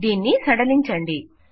దీన్ని సడలించండి